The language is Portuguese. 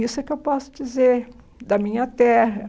Isso é o que eu posso dizer da minha terra.